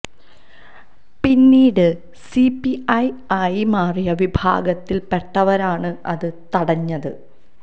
പിന്നീട് C P I ആയി മാറിയ വിഭാഗത്തില് പെട്ടവരാണ് അത് തടഞ്ഞത്